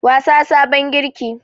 Wasa farin girki.